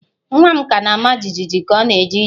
Nwa m ka na-ama jijiji ka ọ na-eje ije